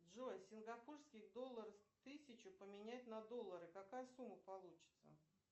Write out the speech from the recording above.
джой сингапурский доллар тысячу поменять на доллары какая сумма получется